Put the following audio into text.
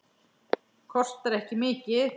Kostar ekki mikið.